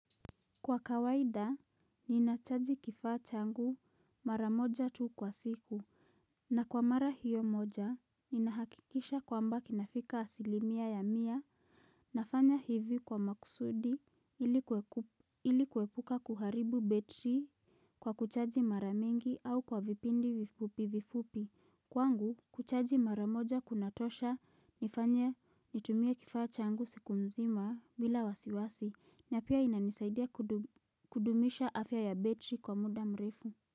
Kwa kawaida, ninachaji kifaa changu mara moja tu kwa siku. Na kwa mara hiyo moja, ninahakikisha kwamba kinafika asilimia ya mia nafanya hivi kwa makusudi ili kuepuka kuharibu betri kwa kuchaji mara mingi au kwa vipindi vifupi vifupi. Kwangu kuchaji mara moja kunatosha nifanye nitumie kifaa changu siku mzima bila wasiwasi na pia inanisaidia kudumisha afya ya betri kwa muda mrefu.